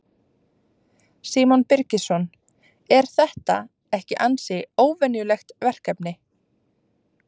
Símon Birgisson: Er þetta ekki ansi óvenjulegt verkefni?